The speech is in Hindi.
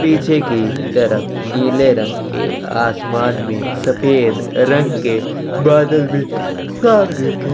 पीछे की तरफ नीले रंग के आसमान में सफ़ेद रंग के बादल भी साफ़ देखे --